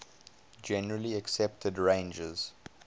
generally accepted ranges